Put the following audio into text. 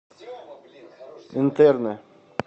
интерны